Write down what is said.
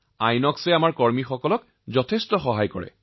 আইএনঅএক্সে আমাৰ লোকসকলৰ বহু উপকাৰ কৰিছে